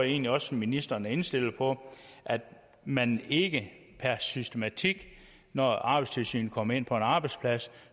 egentlig også ministeren er indstillet på at man ikke per systematik når arbejdstilsynet kommer ind på en arbejdsplads